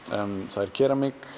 það er keramík